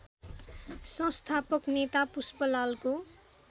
संस्थापक नेता पुष्पलालको